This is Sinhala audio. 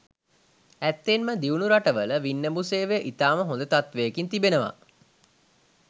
ඇත්තෙන්ම දියුණු රටවල වින්නඹු සේවය ඉතාම හොද තත්ත්වයකින් තිබෙනවා.